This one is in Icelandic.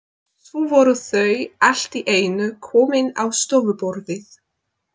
Svo voru þau allt í einu komin á stofuborðið.